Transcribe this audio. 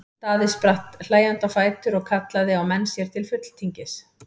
Daði spratt hlæjandi á fætur og kallaði á menn sér til fulltingis.